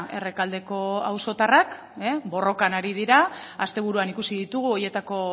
errekaldeko auzotarrak borrokan ari dira asteburuan ikusi ditugu horietako